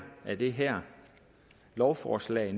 af det her lovforslag